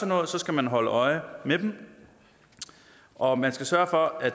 noget skal man holde øje med dem og man skal sørge for at